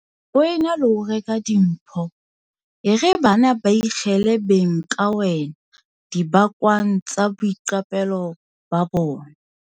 Ho e na le ho reka dimpho, e re bana ba beikhele beng ka wena dibakwang tsa boiqapelo ba bona.